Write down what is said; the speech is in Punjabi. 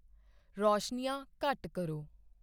ਰੌਸ਼ਨੀਆਂ ਘੱਟ ਕਰੋ।